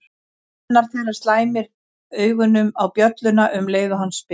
Annar þeirra slæmir augunum á bjölluna um leið og hann spyr